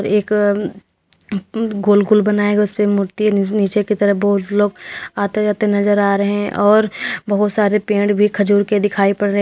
एक गोल गोल बनाया गया है उस पे मूर्ति नीचे की तरफ बहुत लोग आते जाते नजर आ रहे हैं और बहुत सारे पेड़ भी खजूर के दिखाई पड़ रहे--